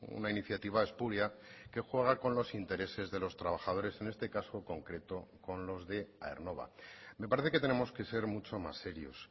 una iniciativa espuria que juega con los intereses de los trabajadores en este caso concreto con los de aernnova me parece que tenemos que ser mucho más serios